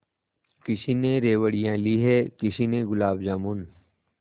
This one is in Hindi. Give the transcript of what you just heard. किसी ने रेवड़ियाँ ली हैं किसी ने गुलाब जामुन